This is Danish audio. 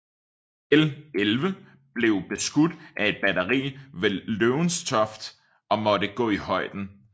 L 11 blev beskudt af et batteri ved Lowestoft og måtte gå i højden